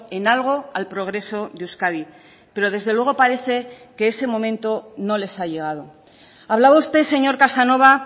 en algo al progreso de euskadi pero desde luego parece que ese momento no les ha llegado hablaba usted señor casanova